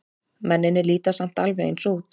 Mennirnir líta samt alveg eins út.